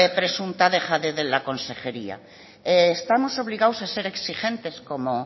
presunta dejadez de la consejería estamos obligados a ser exigentes como